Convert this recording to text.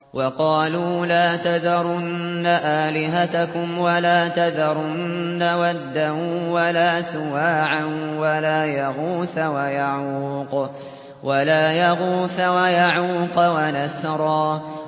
وَقَالُوا لَا تَذَرُنَّ آلِهَتَكُمْ وَلَا تَذَرُنَّ وَدًّا وَلَا سُوَاعًا وَلَا يَغُوثَ وَيَعُوقَ وَنَسْرًا